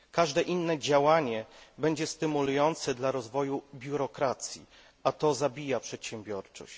Każde inne działanie będzie stymulujące dla rozwoju biurokracji, a to zabija przedsiębiorczość.